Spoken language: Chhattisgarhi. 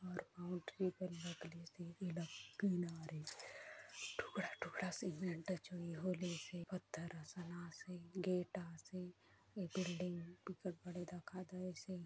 और बाउंड्री बनना से पीला रे टुकड़ा टुकड़ा सा सीमेंट चोई होले से पत्थर हा सना से गेट हा से यह बिल्डिंग गा बड़ी दिखा दे से।